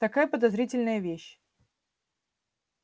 такая подозрительная вещь